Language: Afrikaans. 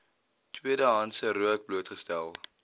tweedehandse rook blootgestel